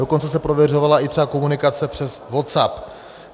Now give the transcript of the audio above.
Dokonce se prověřovala třeba i komunikace přes WhatsApp.